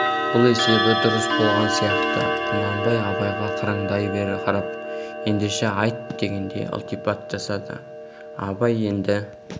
бұл есебі дұрыс болған сияқты құнанбай абайға қырындай қарап ендеше айт дегендей ілтипат жасады абай енді